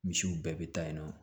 Misiw bɛɛ bɛ taa yen nɔ